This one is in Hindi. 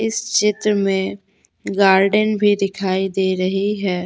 इस चित्र में गॉर्डन भी दिखाई दे रही है।